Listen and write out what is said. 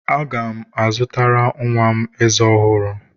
Aga m azụtara nwa m ezé ọhụrụ.